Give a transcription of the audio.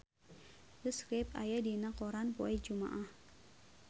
The Script aya dina koran poe Jumaah